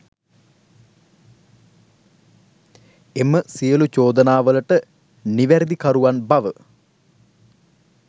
එම සියලු චෝදනාවලට නිවැරදිකරුවන් බව